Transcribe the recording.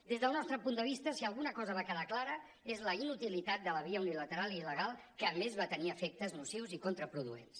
des del nostre punt de vista si alguna cosa va quedar clara és la inutilitat de la via unilateral i il·legal que a més va tenir efectes nocius i contraproduents